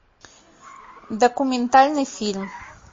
документальный фильм